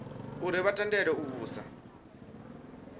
uri vha tendelwe u vhusa